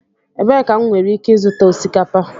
Ebee ka m nwere ike ịzụta osikapa?